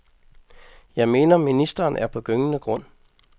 Jeg mener, ministeren er på gyngende grund.